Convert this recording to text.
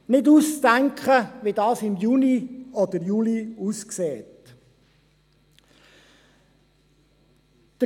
Es ist nicht auszudenken, wie das im Juni oder Juli aussehen wird.